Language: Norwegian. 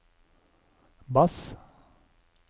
bass